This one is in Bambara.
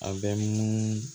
A bɛ munumunu